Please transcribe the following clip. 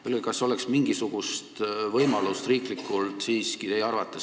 Kas teie arvates oleks mingisugust võimalust seda riiklikult rohkem toetada?